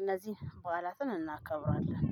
እነዚህን በዓላትን እናከብራለን።